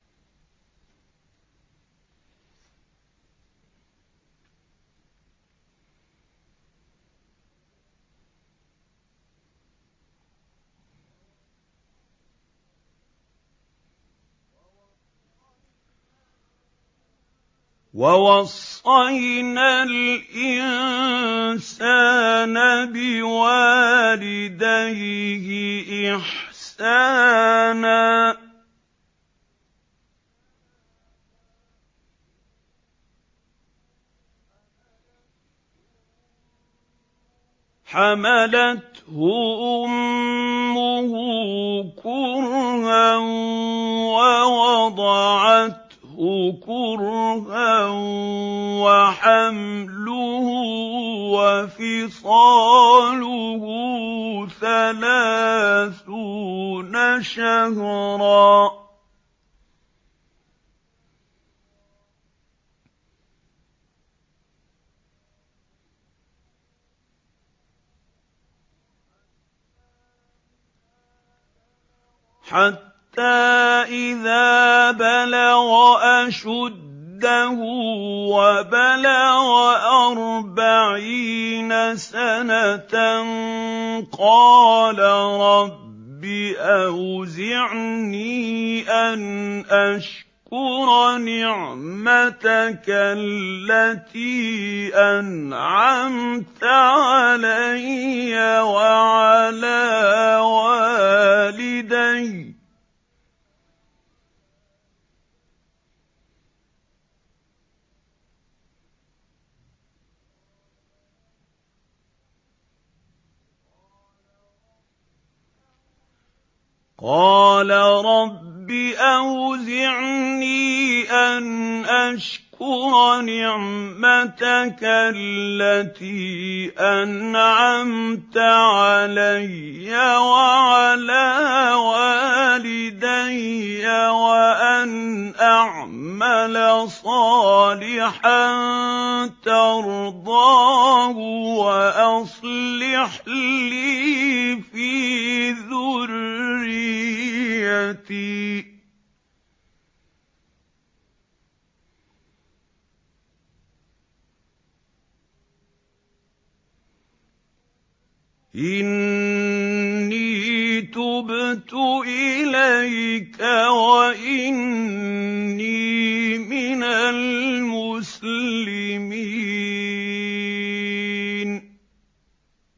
وَوَصَّيْنَا الْإِنسَانَ بِوَالِدَيْهِ إِحْسَانًا ۖ حَمَلَتْهُ أُمُّهُ كُرْهًا وَوَضَعَتْهُ كُرْهًا ۖ وَحَمْلُهُ وَفِصَالُهُ ثَلَاثُونَ شَهْرًا ۚ حَتَّىٰ إِذَا بَلَغَ أَشُدَّهُ وَبَلَغَ أَرْبَعِينَ سَنَةً قَالَ رَبِّ أَوْزِعْنِي أَنْ أَشْكُرَ نِعْمَتَكَ الَّتِي أَنْعَمْتَ عَلَيَّ وَعَلَىٰ وَالِدَيَّ وَأَنْ أَعْمَلَ صَالِحًا تَرْضَاهُ وَأَصْلِحْ لِي فِي ذُرِّيَّتِي ۖ إِنِّي تُبْتُ إِلَيْكَ وَإِنِّي مِنَ الْمُسْلِمِينَ